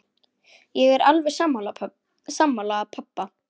Ég er alveg sammála pabba.